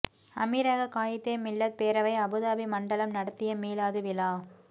அமீரக காயிதே மில்லத் பேரவை அபுதாபி மண்டலம் நடத்திய மீலாது விழா